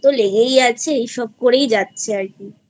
এই তো লেগেই আছে এইসব করেই যাচ্ছে আর কিI